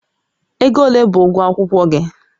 Ego ole bụ ụgwọ akwụkwọ gị?